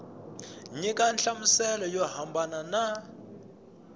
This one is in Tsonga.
nyika nhlamuselo yo hambana na